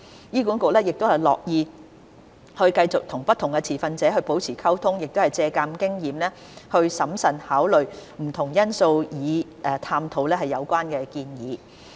醫管局樂意繼續與不同持份者保持溝通並借鑒經驗，審慎考慮不同因素以探討有關建議。